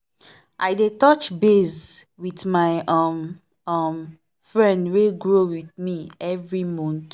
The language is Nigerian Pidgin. i dey touch base with my um um friend wey grow with me every month.